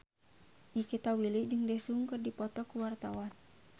Nikita Willy jeung Daesung keur dipoto ku wartawan